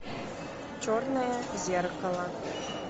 черное зеркало